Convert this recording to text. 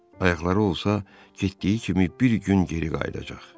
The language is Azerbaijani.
Ayaqları olsa getdiyi kimi bir gün geri qayıdacaq.